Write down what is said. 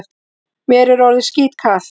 Mér er orðið skítkalt.